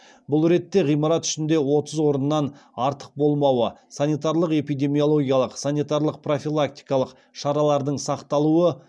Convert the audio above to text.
бұл ретте ғимарат ішінде отыз орыннан артық болмауы санитарлық эпидемиологиялық санитарлық профилактикалық шаралардың сақталуы